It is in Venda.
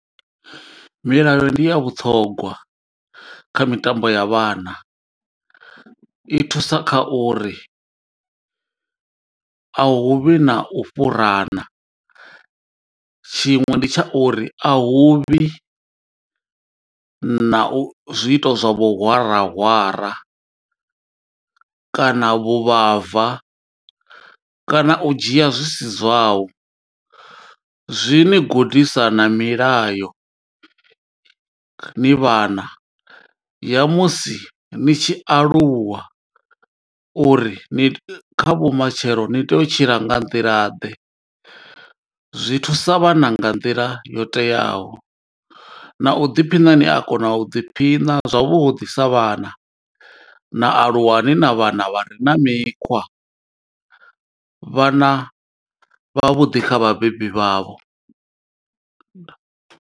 Milayo ndi ya vhuṱhongwa, kha mitambo ya vhana, i thusa kha uri a huvhi na u fhurana. Tshiṅwe ndi tsha uri, a huvhi na u zwiito zwa vhuhwarahwara, kana vhuvhava, kana u dzhia zwi si zwau. Zwi ni gudisa na milayo ni vhana, ya musi ni tshi aluwa uri ni kha vhumatshelo ni tea u tshila nga nḓila ḓe. Zwi thusa vhana nga nḓila yo teaho, na u ḓiphina ni a kona u ḓiphina zwavhuḓi sa vhana. Na aluwa ni na vhana vha re na mikhwa, vhana vha vhuḓi kha vhabebi vha vho.